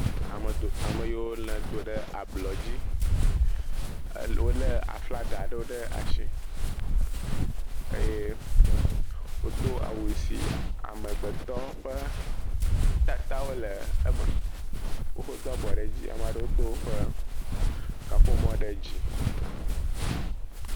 Amedo, ame siwo do ɖe ablɔ dzi. Wole aflagawo aɖewo ɖe asi, wodo awu si amegbetɔ ƒe tatawo le eme, wodo abɔ ɖe dzi ame aɖewo do woƒe kaƒomɔ ɖe dzi.